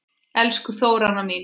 Elsku Þóranna mín.